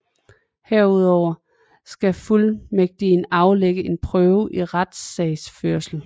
Herudover skal fuldmægtigen aflægge en prøve i retssagsførelse